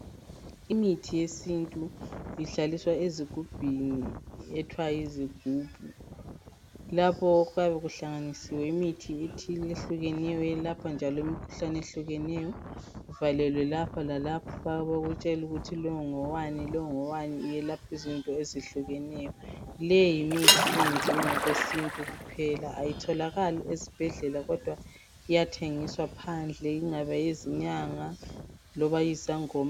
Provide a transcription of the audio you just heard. Imithi yesintu ihlaliswa ezigubhini ethwa yizigubhu lapho okuyabe kuhlanganisiwe imithi ethile ehlukeneyo yelapha njalo imikhuhlane ehlukeneyo ivalelwe lapho lalapha bakutshelukuthi longowani lo ngowani iyelaphizinto ezihlukeneyo leyimithi eyenziwe ngokwesintu kuphela ayitholakali esibhedlela kodwa iyathengiswa phandle ingabe yizinyanga loba yizangoma.